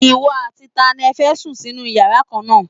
Ìwọ àti tani ẹ fẹ́ sùn sínú yàrá kan náà?